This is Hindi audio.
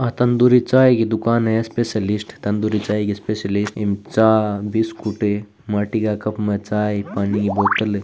आ तंदूरी चाय की दुकान है स्पेशलिस्ट तंदूरी चाय की स्पेशलिस्ट इसमें चायबिस्कुट माटी का कप में चाय पानी की बोतल --